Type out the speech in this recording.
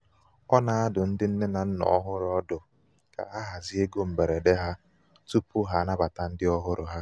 O na-adụ ndị nne na nna ọhụrụ ọdụ ka ha hazie égo mgberede ha tupu tupu ha anabata ndị ọhụrụ ha.